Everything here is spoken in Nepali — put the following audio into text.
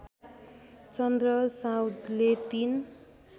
चन्द्र साउदले ३